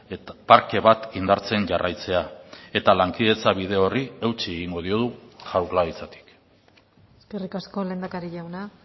eta parke bat indartzen jarraitzea eta lankidetza bide horri eutsi egingo diogu jaurlaritzatik eskerrik asko lehendakari jauna